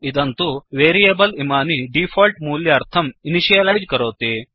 इदं तु वेरियेबल् इमानि तेषां डीफोल्ट् मूल्यार्थं इनिशियलैज् करोति